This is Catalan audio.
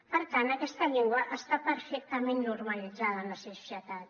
per tant aquesta llengua està perfectament normalitzada en la societat